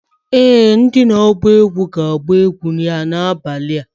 Ee! Ndị na-agba egwu na-agba egwu ga-agbà ya n'abalị a.